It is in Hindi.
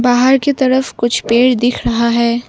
बाहर की तरफ कुछ पेड़ दिख रहा है।